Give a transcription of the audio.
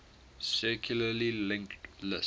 circularly linked list